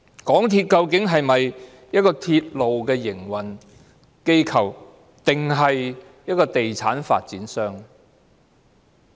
港鐵究竟是鐵路營運機構，還是地產發展商？